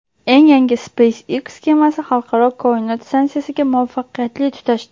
Eng yangi SpaceX kemasi Xalqaro koinot stansiyasiga muvaffaqiyatli tutashdi.